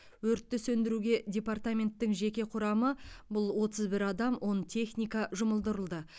өртті сөндіруге департаменттің жеке құрамы бұл отыз бір адам он техника жұмылдырылды